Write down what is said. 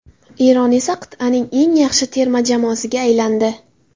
Eron esa qit’aning eng yaxshi terma jamoasiga aylandi.